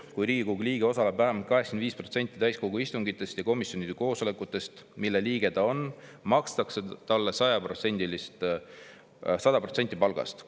Kui Riigikogu liige osaleb vähemalt 85%-l täiskogu istungitest ja nende komisjonide koosolekutest, mille liige ta on, makstakse talle 100% palgast.